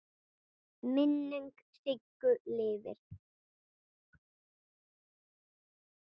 Minning Siggu lifir.